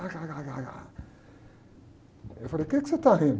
Eu falei, o quê que você está rindo?